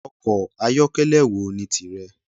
Ọkọ̀ ayokele wo ni tìrẹ?